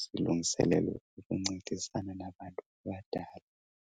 zilungiselelwe ukuncedisana nabantu abadala.